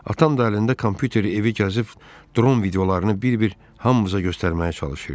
Atam da əlində kompüteri evi gəzib dron videolarını bir-bir hamımıza göstərməyə çalışırdı.